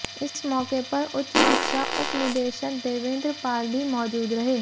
इस मौके पर उच्च शिक्षा उपनिदेशक देवेंद्र पाल भी मौजूद रहे